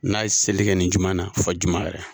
N'a ye seli kɛ nin jumɛn na fɔ j yɛrɛ